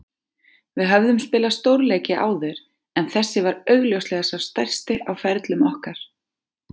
Við höfðum spilað stórleiki áður en þessi var augljóslega sá stærsti á ferlum okkar.